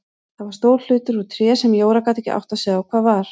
Það var stór hlutur úr tré sem Jóra gat ekki áttað sig á hvað var.